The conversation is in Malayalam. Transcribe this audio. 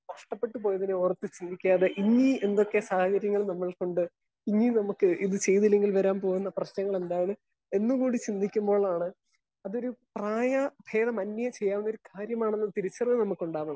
സ്പീക്കർ 1 നഷ്ടപ്പെട്ട് പോയതിനെ ഓർത്തു ജീവിക്കാതെ ഇന്നീ എന്തൊക്കെ സാഹചര്യങ്ങൾ നമ്മക്കുണ്ട് ഇനി നമുക്ക് ഇത് ചെയ്തില്ലെങ്കിൽ വരാൻ പോകുന്ന പ്രശ്നങ്ങൾ എന്താണ് എന്നുകൂടി ചിന്തിക്കുമ്പോഴാണ് അതൊരു പ്രായ ബേദ മന്യേ ചെയ്യാവുന്നൊരു കാര്യമാനെന്ന് തിരിച്ചറിയൽ നമുക്കുണ്ടാവുന്നത്.